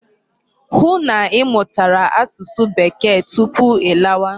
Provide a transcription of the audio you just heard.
Hụ na ị mụtara asụsụ Bekee tupu ị lawa!